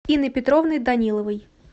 инны петровны даниловой